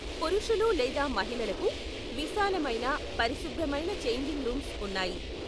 పురుషులు లేదా మహిళలకు విశాలమైన, పరిశుభ్రమైన ఛేంజింగ్ రూమ్స్ ఉన్నాయి.